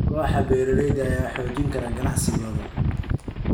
Kooxaha beeralayda ayaa xoojin kara ganacsigooda.